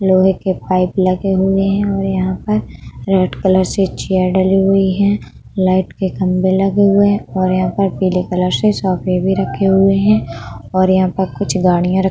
लोहे के पाइप लगे हुए है और यहाँ पर रेड कलर से चेयर डली हुई है। लाइट के खंबे लगे हुए है और यहाँ पर पीले कलर से सोफ़े भी रखे हुए है और यहाँ पर कुछ गाड़िया --